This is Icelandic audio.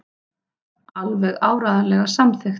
Alveg áreiðanlega samþykkt.